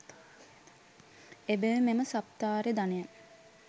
එබැවින් මෙම සප්තාර්ය ධනය